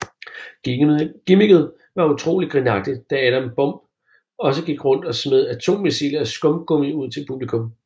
Gimmicket var utrolig grinagtigt da Adam Bomb også gik rundt og smed atommissiler af skumgummi ud til publikum